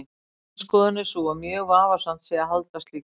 Mín skoðun er sú að mjög vafasamt sé að halda slíku fram.